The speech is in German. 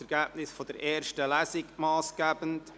Wünscht die Regierungsrätin das Wort.